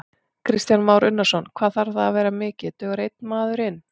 Kristján Már Unnarsson: Hvað þarf það að vera mikið, dugar einn maður inn?